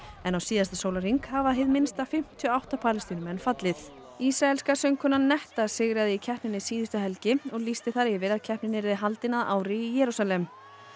en á síðasta sólarhring hafa hið minnsta fimmtíu og átta Palestínumenn fallið ísraelska söngkonan netta sigraði í keppninni síðustu helgi og lýsti þar yfir að keppnin yrði haldin að ári í Jerúsalem